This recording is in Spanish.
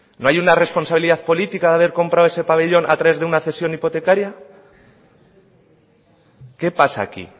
no hay una responsabilidad política de haber comprado ese pabellón a través de una cesión hipotecaria qué pasa aquí